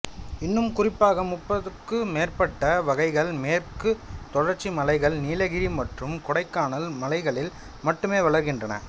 இன்னும் குறிப்பாக முப்பதுக்கும் மேற்பட்ட வகைகள் மேற்கு தொடர்ச்சிமலைகள் நீலகிரி மற்றும் கொடைக்கானல் மலைகளில் மட்டுமே வளர்கின்றன